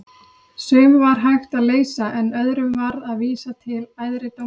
Sum var hægt að leysa en öðrum varð að vísa til æðri dómstóla.